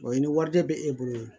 i ni wariden bɛ e bolo